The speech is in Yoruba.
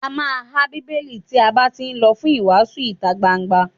A má há Bíbélì tí a bá tí lọ fún ìwàásù ìtagbangba.